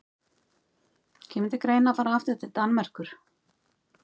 Þú ert öðlingur sagði Braskarinn rámri röddu þegar hann hafði jafnað sig á undruninni.